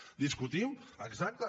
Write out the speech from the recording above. ho discutim exacte